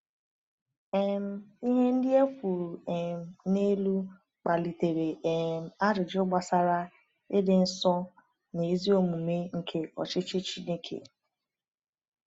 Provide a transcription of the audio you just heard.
um Ihe ndị e kwuru um n’elu kpalitere um ajụjụ gbasara ịdị nsọ na ezi omume nke ọchịchị Chineke.